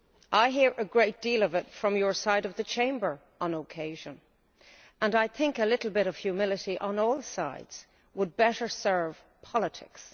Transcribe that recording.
I hear a great deal of it from your side of the Chamber on occasion and I think that a little bit of humility on all sides would better serve politics.